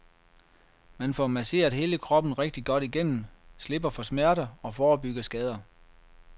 Man får masseret hele kroppen rigtig godt igennem, slipper for smerter og forebygger skader.